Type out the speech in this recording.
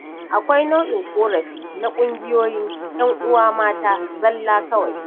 Akwai nau'in ƙorafi na ƙungiyoyin 'yan uwa mata zalla kawai.